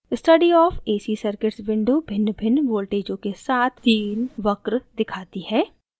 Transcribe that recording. study of ac circuits window भिन्नभिन्न voltages के साथ तीन वक्र दिखाती है